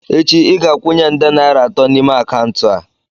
Echi ị ga-akwụnye nde naira atọ n'ime akaụntụ a!